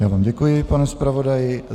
Já vám děkuji, pane zpravodaji.